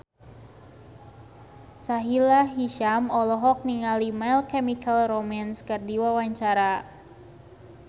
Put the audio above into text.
Sahila Hisyam olohok ningali My Chemical Romance keur diwawancara